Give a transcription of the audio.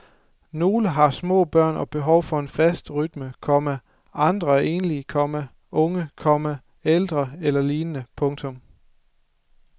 Nogle har små børn og behov for en fast rytme, komma andre er enlige, komma unge, komma ældre eller lignende. punktum